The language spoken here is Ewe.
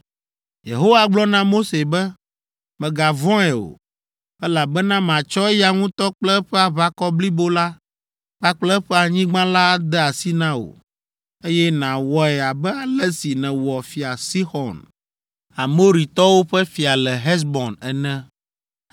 Yehowa gblɔ na Mose be, “Mègavɔ̃e o, elabena matsɔ eya ŋutɔ kple eƒe aʋakɔ blibo la kpakple eƒe anyigba la ade asi na wò; eye nawɔe abe ale si nèwɔ fia Sixɔn, Amoritɔwo ƒe fia le Hesbon ene.”